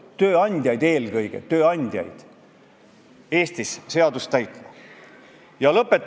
Lõpetuseks ma tahan teile ette lugeda USA presidendi Theodore Roosevelti sõnad 1919. aastal: "Meil on ruumi vaid ühele lipule, Ameerika lipule.